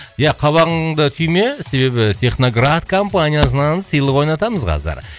ия қабағыңды түйме себебі техноград компаниясынан сыйлық ойнатамыз қазір